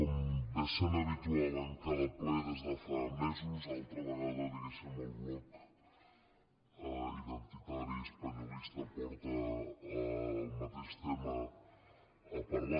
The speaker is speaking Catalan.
com és habitual en cada ple des de fa mesos altra vegada diguéssim el bloc identitari espanyolista porta el mateix tema a parlar